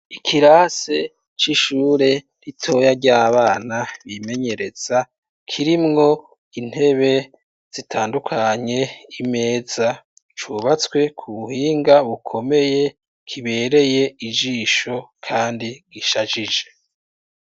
Ikirase c'ishure ritoya ry'abana bimenyereza kirimwo intebe zitandukanye, imeza cubatswe kubuhinga bukomeye kibereye ijisho kandi ishajije.